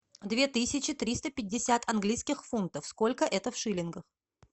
две тысячи триста пятьдесят английских фунтов сколько это в шиллингах